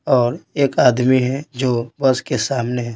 और एक आदमी है जो बस के सामने है।